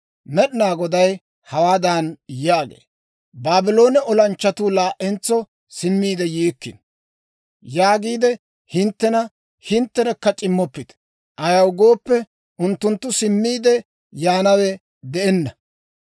Med'inaa Goday hawaadan yaagee; « ‹Baabloone olanchchatuu laa"entso simmiide yiikkino› yaagiide hinttena hintterekka c'immoppite. Ayaw gooppe, unttunttu simmiide yaanawe de'enna!